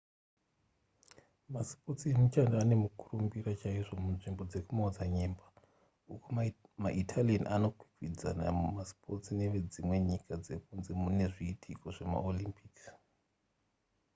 masipotsi emuchando ane mukurumbira chaizvo munzvimbo dzekumaodzanyemba uko maitalian vanokwikwidzana mumasipotsi nevedzimwe nyika dzekunze nezviitiko zvemaolympic